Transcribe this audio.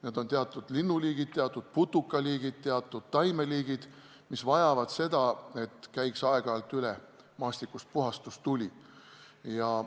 Need on teatud linnuliigid, teatud putukaliigid, teatud taimeliigid, mis vajavad seda, et aeg-ajalt käiks maastikust üle puhastustuli.